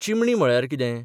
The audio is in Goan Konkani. चिमणी म्हळ्यार कितें?